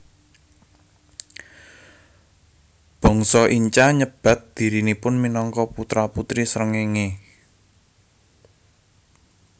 Bangsa Inca nyebat dhirinipun minangka putra putri srengéngé